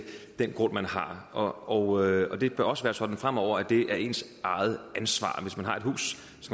den grund man har og og det bør også være sådan fremover at det er ens eget ansvar hvis man har et hus